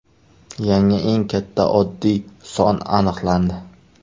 Yangi eng katta oddiy son aniqlandi.